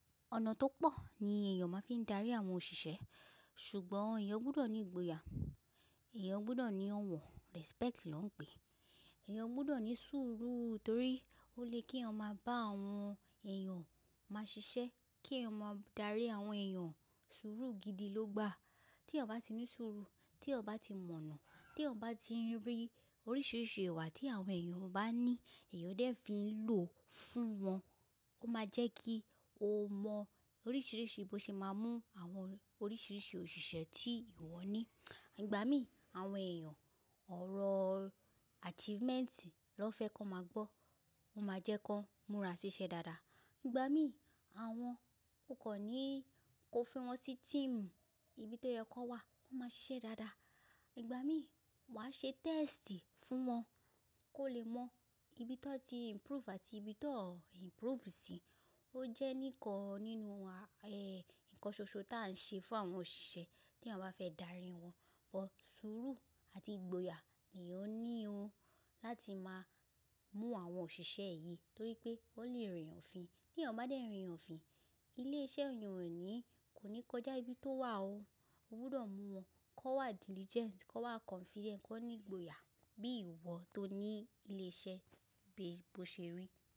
Ọ̀nà tó pọ̀ ni èèyàn máa ń fi ń darí àwọn òṣìṣẹ́, ṣùgbọ́n èèyàn gbọdọ̀ ní ìgboyà, èèyàn gbọdọ̀ ní ọ̀wọ́n respect ló ń pe, èèyàn gbọdọ̀ ní sùúrù torí ó lè kí eeyan ma bá àwọn èèyàn máa ṣiṣẹ́, kí eeyan maa darí àwọn èèyàn sùúrù gidi ló gbà. Tí eeyan ba ti ní sùúrù, tí eeyan ba ti mọ̀nà, tí eeyan ba ti n rí oríṣiríṣi ìwà tí àwọn èèyàn bá ní èèyàn dẹ́ fi ń lò fún wọn, ó máa jẹ́ kí ó mọ oríṣiríṣi bó ṣe máa mú àwọn oríṣiríṣi òṣìṣẹ́ tí ìwọ ní. Ìgbà mí àwọn èèyàn ọ̀rọ̀ achievement ló n fẹ́ kó n máa gbọ́, ó máa jẹ́ kó n múra ṣiṣẹ́ dáadáa. Ìgbà mí àwọn kò kan ní kó fi wọn sí team, ibi tó yẹ kó n wà, wọ́n máa ṣiṣẹ́ dáadáa. Ìgbà mí wàá ṣe test fún wọn kó lè mọ ibi to n ti improve àti ibi tan improve sí. Ó jẹ́ nìkan nínú, nǹkan ṣoṣo tí à ń ṣe fún àwọn òṣìṣẹ́ tí eeyan bá fẹ́ darí wọn. Ọ sùúrù àti ìgboyà ni ó ní o láti máa mú àwọn òṣìṣẹ́ yìí torí pé ó lè rìn ọ̀fin. Tí èèyàn bá dé rìn ọ̀fin, ilé iṣẹ́ èèyàn rẹ̀ ni kò ní kọjá ibi tó wà o. O gbọdọ̀ mú wọn kó wà diligent, kó wà confident, kó ní ìgboyà bí ìwọ tó ní ilé iṣẹ́ bó ṣe rí.